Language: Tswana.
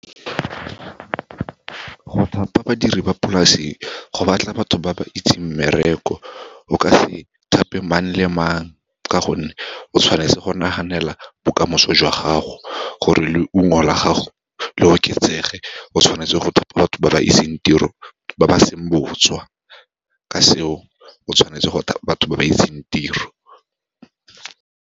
Go thapa badiri ba polase, go batla batho ba ba itseng mmereko. O ka se thape mang le mang ka gonne, o tshwanetse go naganela bokamoso jwa gago, gore leungo la gago le oketsege, o tshwanetse go thapa batho ba ba itseng tiro, ba ba seng botswa. Ka seo, o tshwanetse go thapa batho ba ba itseng tiro.